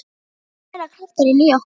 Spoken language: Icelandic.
Það er annars meiri krafturinn í ykkur.